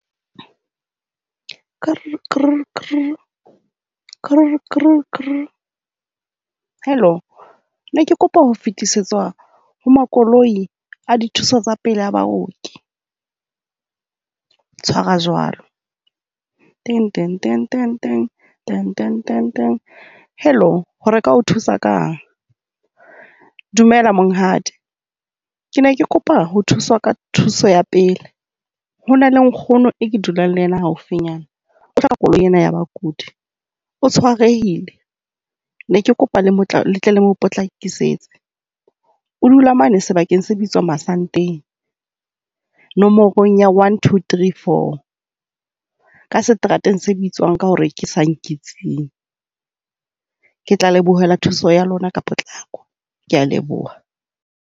Kurr, Kurr, Kurr. Kurr, Kurr, kurr. Hello ke ne ke kopa ho fetisetswa ho makoloi a dithuso tsa pele ya baoki. Tshwara jwalo, ting, ting, ting, ting, ting, ting, ting, ting. Hello, re ka o thusa kang? Dumela, monghadi. Ke ne ke kopa ho thuswa ka thuso ya pele. Ho na le nkgono eo ke dulang le yena haufinyana. O hloka koloi ena ya bakudi. O tshwarehile. Ne ke kopa le tle le mo potlakisetse. O dula mane sebakeng se bitswa Masanteng, nomorong ya one, two, three, four. Ka seterateng se bitswang ka hore ke sa Nketseng. Ke tla lebohela thuso ya lona ka potlako. Ke a leboha.